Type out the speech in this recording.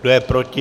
Kdo je proti?